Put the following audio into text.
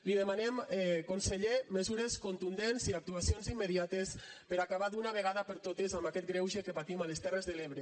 li demanem conseller mesures contundents i actuacions immediates per a acabar d’una vegada per totes amb aquest greuge que patim a les terres de l’ebre